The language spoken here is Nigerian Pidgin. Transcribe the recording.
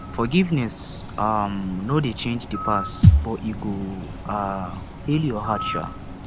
forgiveness um no dey change di past but e go um heal yur heart um